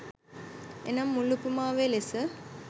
එනම් මුල් උපමාවේ ලෙස